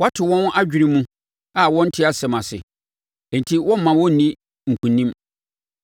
Woato wɔn adwene mu a wɔnte asɛm ase; enti woremma wɔnni nkonim.